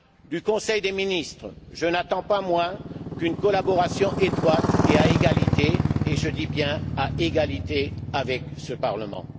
Du conseil des ministres, je n'attends pas moins qu'une collaboration étroite et à égalité et je dis bien à égalité avec ce Parlement.